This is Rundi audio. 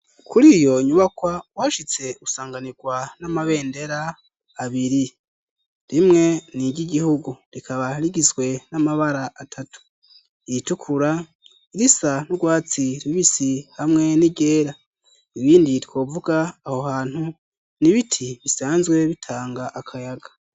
Kuri iyo nyubakwa uwashitse usanganirwa n'amabendera abiri rimwe n iry'igihugu rikaba rigizwe n'amabara atatu iyitukura, irisa n'urwatsi ribisi, hamwe n'iryera. Ibindi twovuga aho hantu ni ibiti bisanzwe bitanga akayaga.